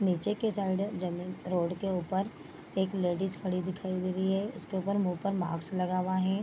नीचे के साइड है जमीन रोड के ऊपर एक लेडीज खड़ी दिखाई दे रही है इसके ऊपर मुँह पर मास्क लगा हुआ है ।